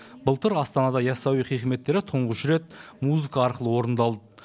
былтыр астанада ясауи хикметтері тұңғыш рет музыка арқылы орындалды